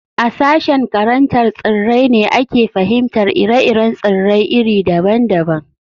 A sashen karantar tsirrai ne ake fahimtar ire-iren tsirrai iri daban daban